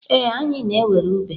Ee, anyị na-ewere Uber.